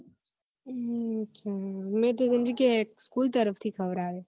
હમ અચ્છા મેં તો સમજી કે school તરફ થી ખવડાવે